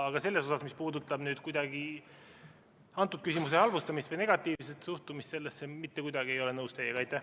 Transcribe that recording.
Aga mis puudutab antud küsimuse halvustamist või negatiivset suhtumist sellesse, siis ma mitte kuidagi ei ole teiega nõus.